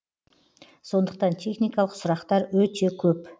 сондықтан техникалық сұрақтар өте көп